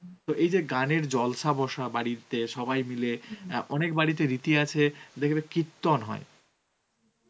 তো এই যে গানের জলসা বসা বাড়িতে সবাই মিলে অ্যাঁ অনেক বাড়িতে রীতি আছে দেখবে কীর্তন হয়.